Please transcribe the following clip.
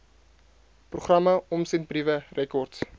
programme omsendbriewe rekords